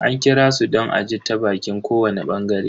An kirasu don a ji ta baƙin kowani bangare.